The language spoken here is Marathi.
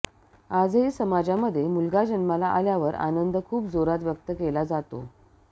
आजही समाजामध्ये मुलगा जन्माला आल्यावर आनंद खूप जोरात व्यक्त केला जातो